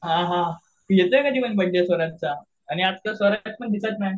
हां हां येतोय कधी मग बडे स्वराजचा? आणि आजकाल स्वराज पण दिसत नाही.